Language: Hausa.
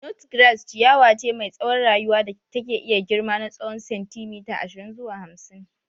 Nut grass ciyawa ce mai tsawon rayuwa da take iya girma na tsowon sentimeta ashirin zuwa hamsin.